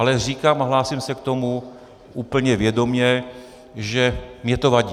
Ale říkám a hlásím se k tomu úplně vědomě, že mi to vadí.